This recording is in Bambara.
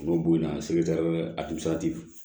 U bɛ bo in na se